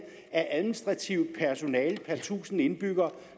af administrativt personale per tusind indbyggere